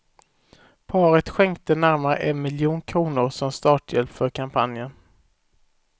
Paret skänkte närmare en miljon kronor som starthjälp för kampanjen.